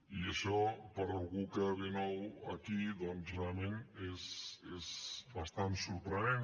i això per algú que ve nou aquí doncs realment és bastant sorprenent